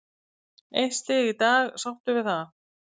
Eitt stig í dag, sáttur við það?